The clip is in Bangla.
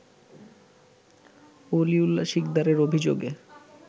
ওলিউল্লাহ সিকদারের অভিযোগে